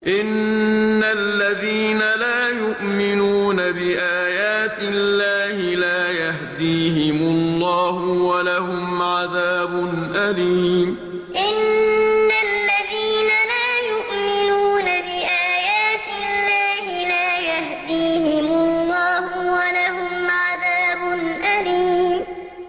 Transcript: إِنَّ الَّذِينَ لَا يُؤْمِنُونَ بِآيَاتِ اللَّهِ لَا يَهْدِيهِمُ اللَّهُ وَلَهُمْ عَذَابٌ أَلِيمٌ إِنَّ الَّذِينَ لَا يُؤْمِنُونَ بِآيَاتِ اللَّهِ لَا يَهْدِيهِمُ اللَّهُ وَلَهُمْ عَذَابٌ أَلِيمٌ